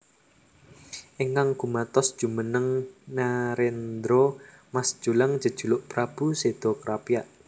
Ingkang gumatos jumeneng nerendra Mas Jolang jejuluk Prabu Seda Krapyak